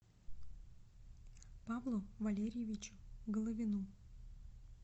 павлу валерьевичу головину